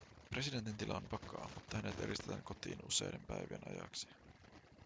presidentin tila on vakaa mutta hänet eristetään kotiin useiden päivien ajaksi